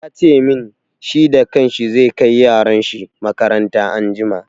Ya ce min, shi da kan shi zai kai yaran shi makaranta anjima.